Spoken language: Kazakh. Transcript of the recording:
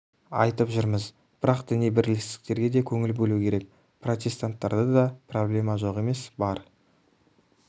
айтып жүрміз бірақ басқа діни бірлестіктерге де көңіл бөлу керек протестанттарда проблема жоқ емес бар